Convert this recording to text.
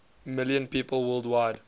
million people worldwide